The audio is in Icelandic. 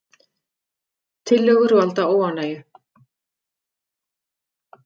Tillögur valda óánægju